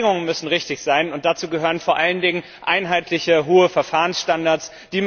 Aber die Bedingungen müssen richtig sein, und dazu gehören vor allen Dingen einheitliche hohe Verfahrensstandards.